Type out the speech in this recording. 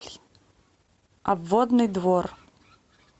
обводный двор